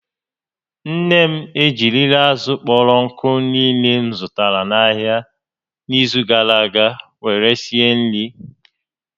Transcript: Nne m ejirila azụ̀ kpọrọ nkụ niile m zụtara n'ahịa n'izu gara aga were sie nri